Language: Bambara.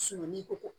Sununko